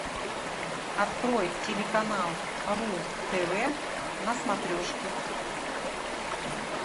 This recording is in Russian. открой телеканал ру тв на смотрешке